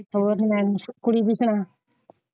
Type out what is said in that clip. ਹੋਰ ਕੁੜੀ ਦੀ ਸੁਣਾ।